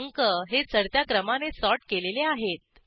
अंक हे चढत्या क्रमाने सॉर्ट केलेले आहेत